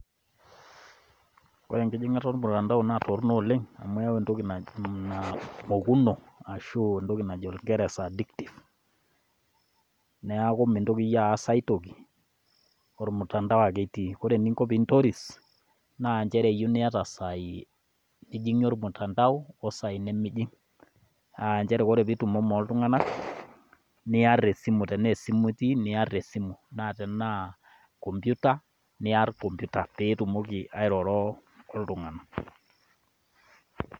Ore enkijingata olmutandao naa toronok oleng amu keyau entoki naji mokuno aashu entoki najo nkirisa addictive neeku mintoki iyie aas aitoki olmutandao ake itii nee ore eninko pee intoris naa nchere eyieu naa iyata saai nijingie olmutandao osaai nimijing aa nchere ore pee itumomo oltunganak niar esimu tenaa esimu itii naa tenaa kompyuta niar kompita pee itumokiki airoro oltungana.